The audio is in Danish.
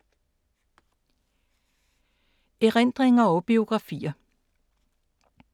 Erindringer og biografier